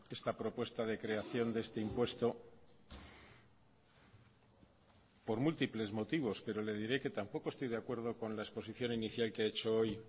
esta propuesta de creación de este impuesto por múltiples motivos pero le diré que tampoco estoy de acuerdo con la exposición inicial que he hecho hoy